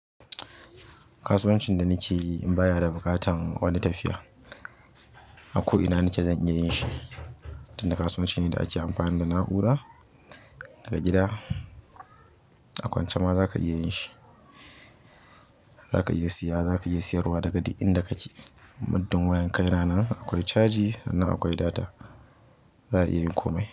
Kasuwancin da nake yi in baya da buƙatan wani tafiya. Ako ina nike zan iya yin shi. Tun da kasuwanci ne da ake amfani da na'ura, daga gida akwance ma zaka iya yin shi. Zaka iya siya zaka iya siyarwa daga duk inda kake. Muddin wayan ka yana nan akwai caji sannan akwai data, za a iya yin komai.